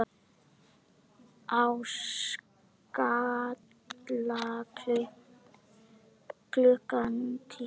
Á Skalla klukkan tíu!